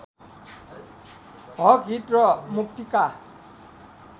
हकहित र मुक्तिका